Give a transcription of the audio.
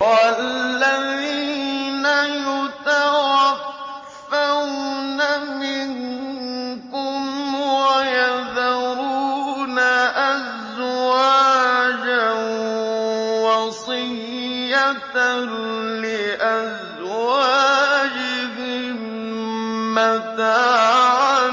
وَالَّذِينَ يُتَوَفَّوْنَ مِنكُمْ وَيَذَرُونَ أَزْوَاجًا وَصِيَّةً لِّأَزْوَاجِهِم مَّتَاعًا